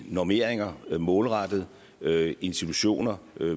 normeringer målrettet institutioner